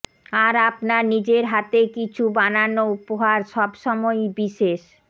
আর আপনার নিজের হাতে কিছু বানানো উপহার সবসময়ই বিশেষ